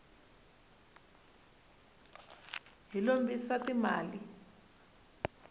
hi lombisa ti mali